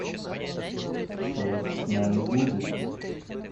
что с нами будет